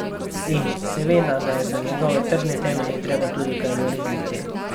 In, seveda, da je za njegove trdne temelje treba tudi kaj narediti!